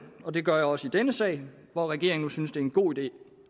og det gør jeg også i denne sag hvor regeringen nu synes det er en god idé